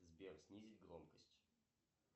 сбер снизить громкость